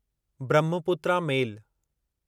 Brahmaputra मेल